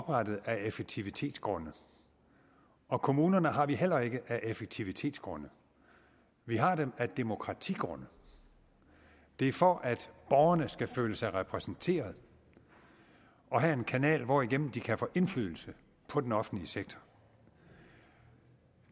oprettet af effektivitetsgrunde og kommunerne har vi heller ikke af effektivitetsgrunde vi har dem af demokratigrunde det er for at borgerne skal føle sig repræsenteret og have en kanal hvorigennem de kan få indflydelse på den offentlige sektor